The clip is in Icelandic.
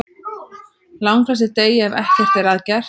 Langflestir deyja ef ekkert er að gert.